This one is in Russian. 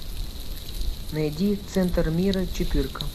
найди центр мира четырка